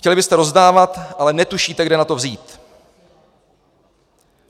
Chtěli byste rozdávat, ale netušíte, kde na to vzít.